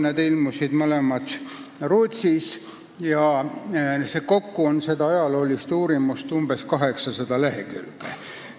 Need ilmusid mõlemad Rootsis ja kokku on seda ajaloolist uurimust umbes 800 lehekülge.